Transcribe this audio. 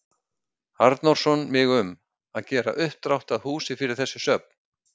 Arnórsson mig um, að gera uppdrátt að húsi fyrir þessi söfn.